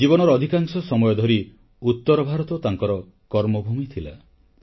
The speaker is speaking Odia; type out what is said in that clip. ଜୀବନର ଅଧିକାଂଶ ସମୟ ଧରି ଉତ୍ତର ଭାରତ ତାଙ୍କର କର୍ମଭୂମି ଥିଲା